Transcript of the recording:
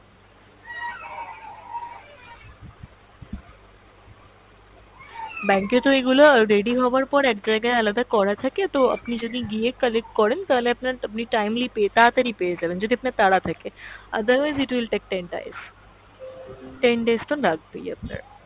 bank এ তো এগুলো ready হওয়ার পর এক জায়গায় আলাদা করা থাকে তো আপনি গিয়ে collect করেন তাহলে আপনার, আপনি timely পেয়ে তাড়াতাড়ি পেয়ে যাবেন যদি আপনার তাড়া থাকে, otherwise it will take . ten days তো লাগবেই আপনার।